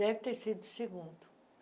Deve ter sido segundo.